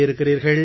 இருக்கிறீர்கள்